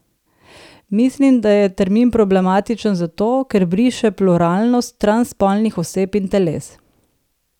Mislim, da je termin problematičen zato, ker briše pluralnost transspolnih oseb in teles.